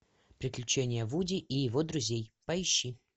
приключения вуди и его друзей поищи